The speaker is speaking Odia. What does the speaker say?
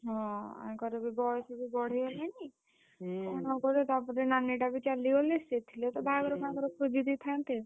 ହଁ, ଆଙ୍କର ବି ବୟସ ବି ବଢିଗଲାଣି। ତା ପରେ ନାନୀଟା ବି ଚାଲିଗଲେ, ସିଏ ଥିଲେ ତ ବାହାଘର ଖୋଜିଦେଇଥାନ୍ତେ।